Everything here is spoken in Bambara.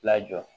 Lajɔ